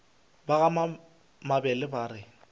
ba ga mabele ba re